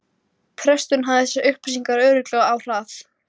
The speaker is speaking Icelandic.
Þú ert alveg á herðablöðunum, maður!